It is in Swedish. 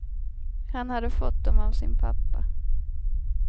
Han hade fått dem av sin pappa.